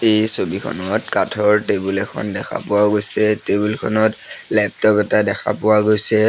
এই ছবিখনত কাঠৰ টেবুল এখন দেখা পোৱা গৈছে টেবুল খনত লেপটপ এটা দেখা পোৱা গৈছে।